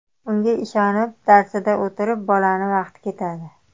Unga ishonib, darsida o‘tirib bolani vaqti ketadi.